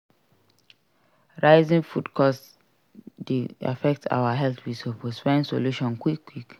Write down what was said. Rising food cost dey affect our health we suppose find solution quick quick.